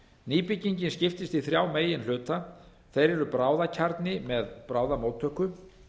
nýbyggingin skiptist í þrjá meginhluta þeir eru bráðakjarni með bráðamóttöku